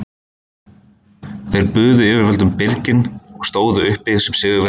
Þeir buðu yfirvöldum byrginn og stóðu uppi sem sigurvegarar að lokum.